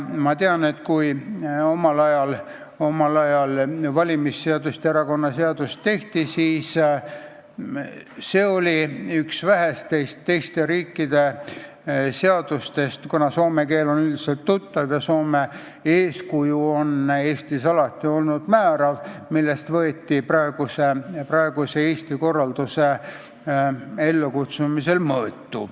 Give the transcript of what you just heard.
Ma tean, et kui omal ajal valimisseadust ja erakonnaseadust tehti, siis see oli üks vähestest teiste riikide seadustest , millest võeti Eesti praeguse korralduse ellukutsumisel mõõtu.